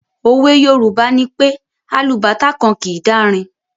òwe Yorùbá nipé “ alubàtá kan kìí dárin”.